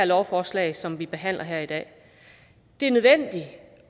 lovforslag som vi behandler her i dag det er nødvendigt